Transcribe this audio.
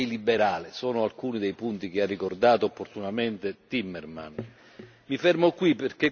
Mi fermo qui perché questa è solo una parte delle recenti affermazioni del presidente Orbán.